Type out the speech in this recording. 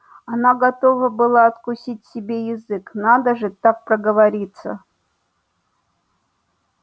она готова была откусить себе язык надо же так проговориться